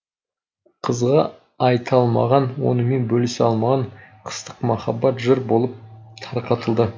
қызға айта алмаған онымен бөлісе алмаған қыстық махаббат жыр болып тарқатылды